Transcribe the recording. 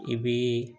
I bi